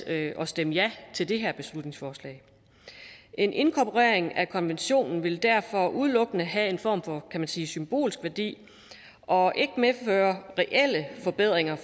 at stemme ja til det her beslutningsforslag en inkorporering af konventionen vil derfor udelukkende have en form for kan man sige symbolsk værdi og ikke medføre reelle forbedringer